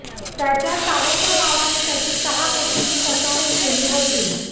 त्याच्या सावत्र भावाने त्याची सहा कोटींची फसवणूक केली होती